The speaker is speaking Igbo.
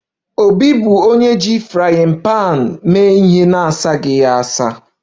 Obi bụ onye ji frying pan na-asaghị ya